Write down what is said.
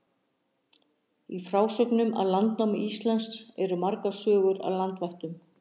Í frásögnum af landnámi Íslands eru margar sögur af landvættum.